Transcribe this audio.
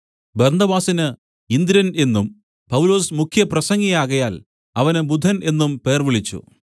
ബർന്നബാസിന് ഇന്ദ്രൻ എന്നും പൗലൊസ് മുഖ്യപ്രസംഗിയാകയാൽ അവന് ബുധൻ എന്നും പേർവിളിച്ചു